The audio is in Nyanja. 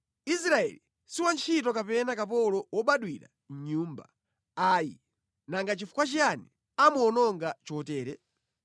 Israeli si wantchito kapena kapolo wobadwira mʼnyumba, ayi. Nanga nʼchifukwa chiyani amuwononga chotere?